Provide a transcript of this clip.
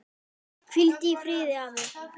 Hvíldu í friði afi.